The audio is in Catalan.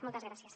moltes gràcies